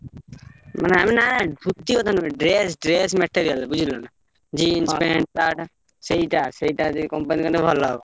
ମାନେ ଆମେ ନା ଧୋତି କଥା ନୁହେଁ dress dress material ବୁଝିଲନା? jeans pant, shirt ସେଇଟା ସେଇଟା ଯଦି company କଲେ ଭଲ ହବ।